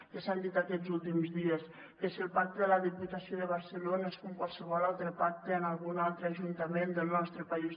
que s’han dit aquests últims dies que si el pacte de la diputació de barcelona és com qualsevol altre pacte en algun altre ajuntament del nostre país